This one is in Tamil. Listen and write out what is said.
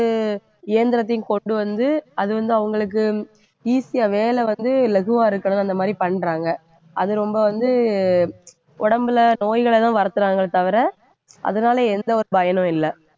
இயந்திரத்தையும் கொண்டு வந்து அது வந்து அவங்களுக்கு easy யா வேலை வந்து லகுவா இருக்கணுன்னு அந்த மாதிரி பண்றாங்க அது ரொம்ப வந்து உடம்புல நோய்களைதான் வளர்த்துறாங்களே தவிர அதனால எந்த ஒரு பயனும் இல்ல